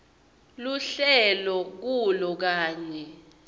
lohlele kulo kanye